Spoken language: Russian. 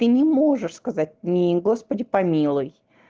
ты не можешь сказать ни господи помилуй